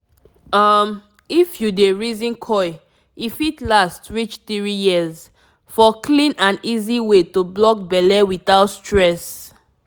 um if you dey reason coil e fit last reach 3yrs --for clean and easy way to block belle without stress.